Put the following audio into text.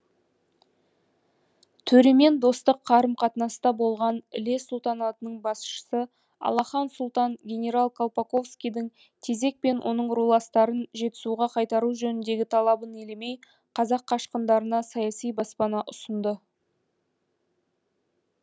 төремен достық қарым қатынаста болған іле сұлтанатының басшысы алахан сұлтан генерал колпасковскийдің тезек пен оның руластарын жетісуға қайтару жөніндегі талабын елемей қазақ қашқындарына саяси баспана ұсынды